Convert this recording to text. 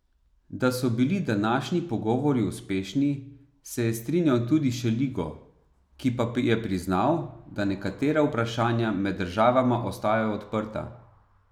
Da so bili današnji pogovori uspešni, se je strinjal tudi Šeligo, ki pa je priznal, da nekatera vprašanja med državama ostajajo odprta.